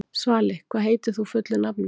Svali, hvað heitir þú fullu nafni?